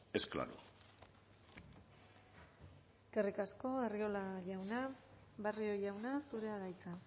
es claro eskerrik asko arriola jauna barrio jauna zurea da hitza